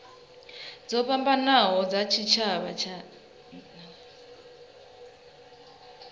dzo fhambanaho dza tshitshavha dzi